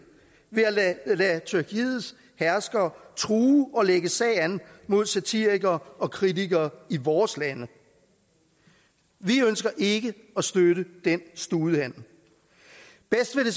ved at lade tyrkiets herskere true og lægge sag an mod satirikere og kritikere i vores lande vi ønsker ikke at støtte den studehandel bedst ville